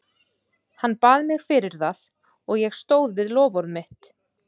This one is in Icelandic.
Hann bað mig fyrir það og ég stóð við loforð mitt.